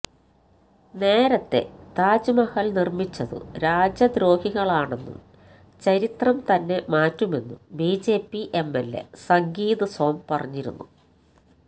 നേരത്തെ താജ്മഹല് നിര്മിച്ചതു രാജ്യദ്രോഹികളാണെന്നും ചരിത്രം തന്നെ മാറ്റുമെന്നും ബിജെപി എംഎല്എ സംഗീത് സോം പറഞ്ഞിരുന്നു